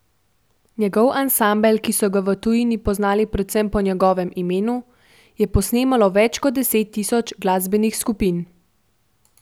Njegov ansambel, ki so ga v tujini poznali predvsem po njegovem imenu, je posnemalo več kot deset tisoč glasbenih skupin.